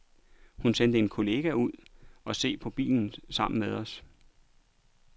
Hun sendte en kollega ud og se på bilen sammen med os.